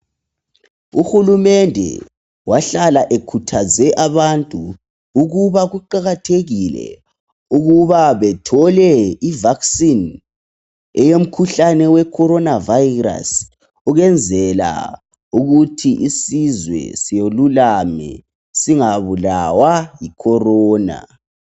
Uhulumende wahlala ekhuthaze abantu ukuba kuqakathekile ukuthi bathole ivaccine yomjhuhlane weCorona virus. Ukuze isizwe silulame. Singabulawa yiCorona.